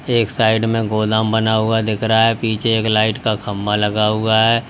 एक साइड में गोदाम बना हुआ दिख रहा है पीछे एक लाइट का खम्भा लगा हुआ है।